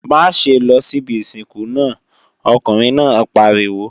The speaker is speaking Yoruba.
Má ṣe lọ síbi ìsìnkú náà, ọkùnrin náà pariwo!